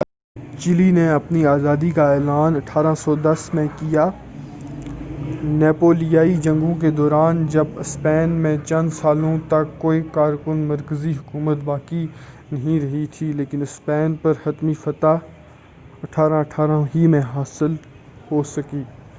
اگرچہ چیلی نے اپنی آزادی کا اعلان 1810 میں کیا نیپولیائی جنگوں کے دوران جب اسپین میں چند سالوں تک کوئی کارکن مرکزی حکومت باقی نہیں رہی تھی لیکن اسپین پر حتمی فتح 1818 میں ہی حاصل ہو سکی۔